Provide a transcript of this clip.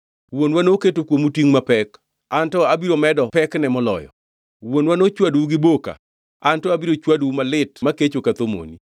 Wuonwa noketo kuomu tingʼ mapek; an to abiro medo pekne moloyo. Wuonwa nochwadou gi boka, an to abiro chwadou malit makecho ka thomoni.’ ”